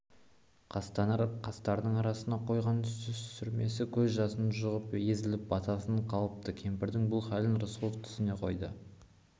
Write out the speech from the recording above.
қастарының арасына қойған сүрмесі көз жасы жұғып езіліп баттасып қалыпты кемпірдің бұл халін рысқұлов түсіне қойды